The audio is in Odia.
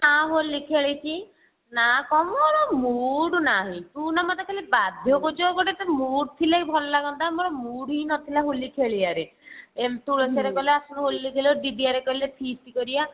ନା ହୋଲି ଖେଳିଛି ନା କଣ ମୋର mood ନାହିଁ ତୁ ନା ମୋତେ ଖାଲି ବାଧ୍ୟ କରୁଛୁ ଆଉ ଗୋଟେ mood ଥିଲେ ଭଲ ଲାଗନ୍ତା ମୋର mood ହି ନଥିଲା ହୋଲି ଖେଳିଆ ରେ ଏମତି ଏଥର ଗଲେ ତୁ ଆସିବୁ ହୋଲି ଖେଳିବ ଦିଦି ଘରିଆ କହିଲେ feast କରିବା